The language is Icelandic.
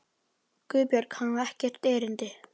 GUÐBJÖRG: Hann á hér ekkert erindi.